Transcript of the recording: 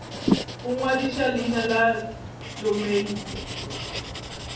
go ngwadiša leina la domeine